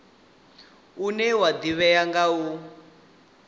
une wa ḓivhea nga u